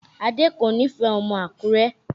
Adé kò nífẹ̀ẹ́ ọmọ Àkúrẹ́